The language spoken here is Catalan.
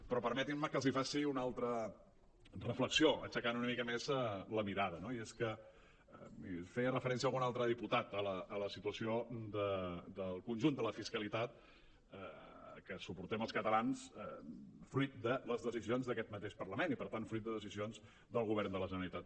però permetin·me que els faci una altra reflexió aixecant una mica més la mira·da no i és que hi feia referència algun altre diputat a la situació del conjunt de la fiscalitat que suportem els catalans fruit de les decisions d’aquest mateix parlament i per tant fruit de decisions del govern de la generalitat